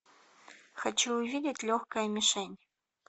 хочу увидеть легкая мишень